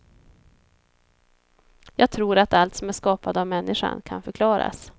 Jag tror att allt som är skapat av människan kan förklaras.